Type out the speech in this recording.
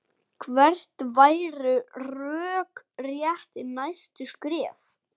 Hver væru rökrétt næstu skref?